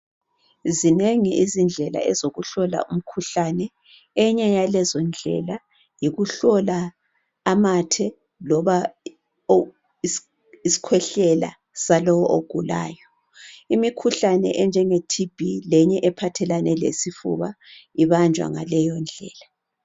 Zinengi izindlela ezokuhlola umkhuhlane . Enye yalezondlela yikuhlola amathe loba isikhwehlela salowu ogulayo . Imikhuhlane enjenge TB lenye ephathelane lesifuba ibanjwa ngaleyondlela .